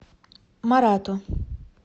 марату